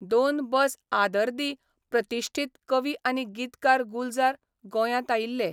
दोन बस आदर्दी 'प्रतिश्ठीत 'कवी आनी गीतकार गुलजार गोंयांत आयिल्ले.